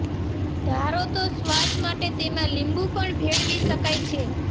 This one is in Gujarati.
ધારો તો સ્વાદ માટે તેમાં લીંબુ પણ ભેળવી શકાય છે